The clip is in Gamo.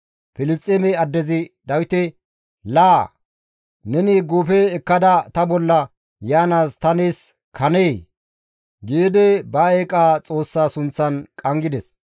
Filisxeeme addezi Dawite, «Laa, neni guufe ekkada ta bolla yaanaas ta nees kanee?» giidi ba eeqa xoossaa sunththan qanggides.